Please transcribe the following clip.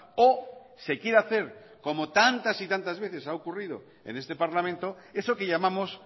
o se quiere hacer como tantas y tantas veces ha ocurrido en este parlamento eso que llamamos